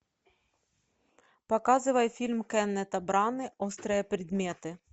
показывай фильм кеннета браны острые предметы